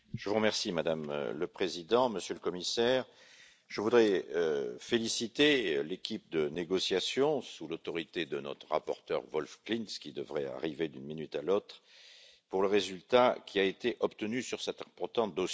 Madame le Président, Monsieur le Commissaire, je voudrais féliciter l'équipe de négociations sous l'autorité de notre rapporteur Wolf Klinz, qui devrait arriver d'une minute à l'autre, pour le résultat qui a été obtenu sur cet important dossier.